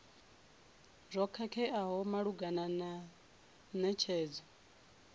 zwo khakheaho malugana na netshedzo